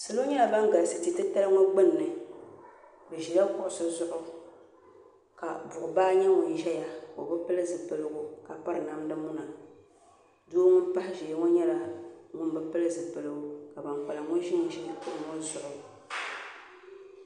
Salo nyɛla ban galisi ti' titali ŋɔ gbunni bɛ ʒila kuɣusi zuɣu ka buɣubaa nyɛ ŋun ʒiya o bi pili zuɣupiligu ka piri namdimuna doo ŋun pahi ʒiya ŋɔ nyɛla ŋun bi pili zuɣupiligu ka ban kpalim ŋɔ ʒinʒi kuɣu ŋɔ zuɣu